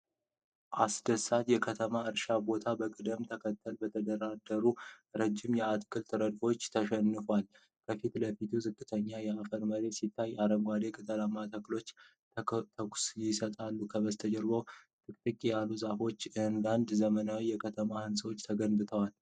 አስደሳች የከተማ እርሻ ቦታ በቅደም ተከተል በተደረደሩ ረዣዥም የአትክልት ረድፎች ተሸፍኗል። ከፊት ለፊት ዝቅተኛ የአፈር መሬት ሲታይ፣ አረንጓዴ ቅጠላማ ተክሎች ትኩስነትን ይሰጣሉ። ከበስተጀርባ ጥቅጥቅ ያሉ ዛፎችና አንዳንድ ዘመናዊ የከተማ ህንፃዎች ተገንብተዋል።